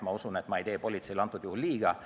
Ma usun, et ma ei tee praegusel juhul politseile liiga.